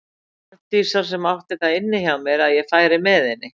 Arndísar sem átti það inni hjá mér að ég færi með henni.